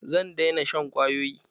Zan daina shan kwayoyi.